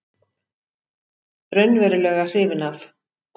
Raunverulega hrifinn af.